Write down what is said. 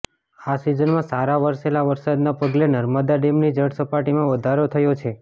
આ સિઝનમાં સારા વરસેલા વરસાદના પગલે નર્મદા ડેમની જળ સપાટીમાં વધારો થયો છે